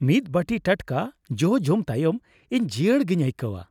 ᱢᱤᱫ ᱵᱟᱹᱴᱤ ᱴᱟᱴᱠᱟ ᱡᱚ ᱡᱚᱢ ᱛᱟᱭᱚᱢ ᱤᱧ ᱡᱤᱭᱟᱹᱲ ᱜᱤᱧ ᱟᱹᱭᱠᱟᱹᱣᱟ ᱾